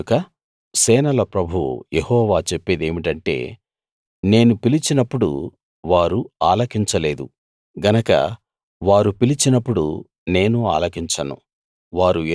కనుక సేనల ప్రభువు యెహోవా చెప్పేదేమిటంటే నేను పిలిచినప్పుడు వారు ఆలకించ లేదు గనక వారు పిలిచినప్పుడు నేను ఆలకించను